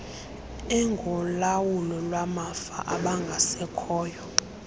engolawulo lwamafa abangasekhoyo